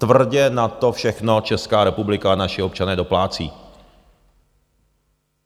Tvrdě na to všechno Česká republika a naši občané doplácí.